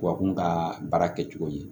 Tubabu ka baara kɛcogo ye